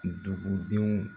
Dugudenw